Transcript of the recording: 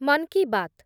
Mann ki Baat